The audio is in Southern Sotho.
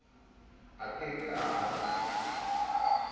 a ke ke a ba